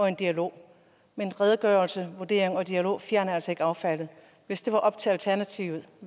en dialog men redegørelse vurdering og dialog fjerner altså ikke affaldet hvis det var op til alternativet